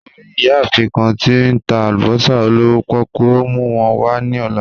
Mo ri iyaafin kan ti o n ta alubosa olowo poku, o mu wọn wa ni ọla.